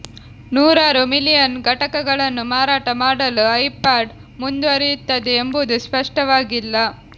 ನೂರಾರು ಮಿಲಿಯನ್ ಘಟಕಗಳನ್ನು ಮಾರಾಟ ಮಾಡಲು ಐಪಾಡ್ ಮುಂದುವರಿಯುತ್ತದೆ ಎಂಬುದು ಸ್ಪಷ್ಟವಾಗಿಲ್ಲ